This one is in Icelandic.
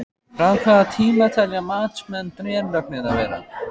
Frá hvaða tíma telja matsmenn drenlögnina vera?